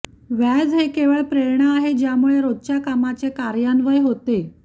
व्याज हे केवळ प्रेरणा आहे ज्यामुळे रोजच्या कामाचे कार्यान्वयन होते